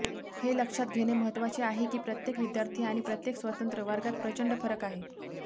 हे लक्षात घेणे महत्वाचे आहे की प्रत्येक विद्यार्थी आणि प्रत्येक स्वतंत्र वर्गात प्रचंड फरक आहे